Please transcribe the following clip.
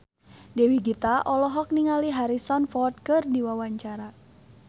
Dewi Gita olohok ningali Harrison Ford keur diwawancara